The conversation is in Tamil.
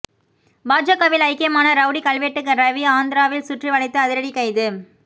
பாஜகவில் ஐக்கியமான ரவுடி கல்வெட்டு ரவி ஆந்திராவில் சுற்றி வளைத்து அதிரடி கைது